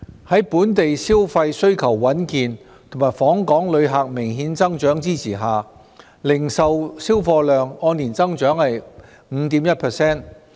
在本地消費需求穩健和訪港旅客明顯增長的支持下，零售銷貨量按年增長 5.1%。